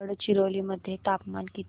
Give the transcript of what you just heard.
गडचिरोली मध्ये तापमान किती